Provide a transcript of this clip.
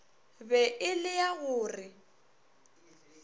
be e lea go re